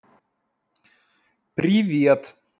привет